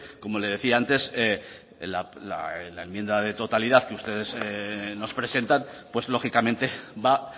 como le decía antes a enmienda de totalidad que ustedes nos presentan pues lógicamente va